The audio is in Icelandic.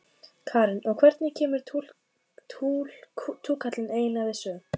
Karen: Og hvernig kemur túkallinn eiginlega við sögu?